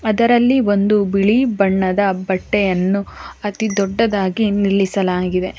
ಅದರಲ್ಲಿ ಒಂದು ಬಿಳಿ ಬಣ್ಣದ ಬಟ್ಟೆಯನ್ನು ಅತಿ ದೊಡ್ಡದಾಗಿ ನಿಲ್ಲಿಸಲಾಗಿದೆ.